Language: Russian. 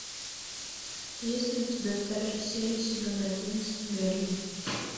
есть ли у тебя вторая серия сезона одиннадцать мерлин